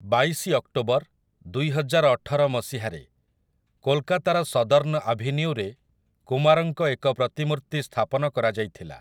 ବାଇଶି ଅକ୍ଟୋବର, ଦୁଇହଜାରଅଠର ମସିହାରେ, କୋଲକାତାର ସଦର୍ଣ୍ଣ ଆଭିନ୍ୟୁରେ କୁମାରଙ୍କ ଏକ ପ୍ରତିମୂର୍ତ୍ତି ସ୍ଥାପନ କରାଯାଇଥିଲା ।